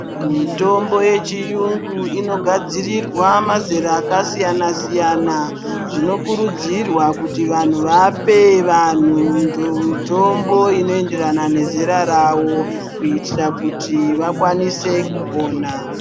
Mitombo yechiyungu inogadzirirwa mazera akasiyana siyana zvinokurudzirwa kuti vanhu vape vanhu mutombo unoenderana nezera ravo kuitira kuitira kuti vakwanise kupona .